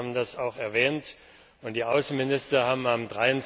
Sie haben das auch erwähnt, und die Außenminister haben am